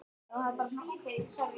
Það var víst út af því!